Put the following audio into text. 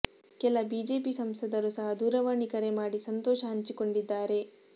ಕೆಲ ಬಿಜೆಪಿ ಸಂಸದರು ಸಹ ದೂರವಾಣಿ ಕರೆ ಮಾಡಿ ಸಂತೋಷ ಹಂಚಿಕೊಂಡಿದ್ದಾರೆ